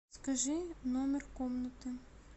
скажи номер комнаты